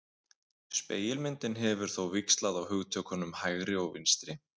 Spegilmyndin hefur þó víxlað á hugtökunum hægri og vinstri.